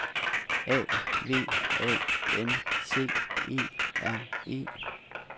A V A N C E R E